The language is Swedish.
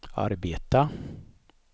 arbeta